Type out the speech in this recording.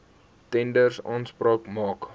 tenders aanspraak maak